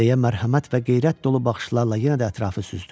Deyə mərhəmət və qeyrət dolu baxışlarla yenə də ətrafı süzdü.